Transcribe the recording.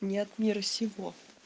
не от мира сего